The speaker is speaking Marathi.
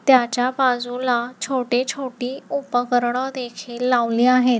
त्याच्या बाजूला छोटे-छोटे उपकरण देखील लावले आहेत.